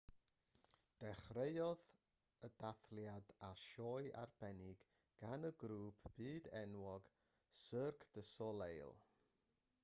dechreuodd y dathliadau â sioe arbennig gan y grŵp byd-enwog cirque du soleil